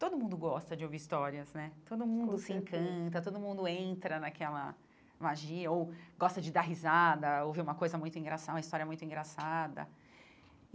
Todo mundo gosta de ouvir histórias né, com certeza todo mundo se encanta, todo mundo entra naquela magia ou gosta de dar risada, ouvir uma coisa muito engraça uma história muito engraçada.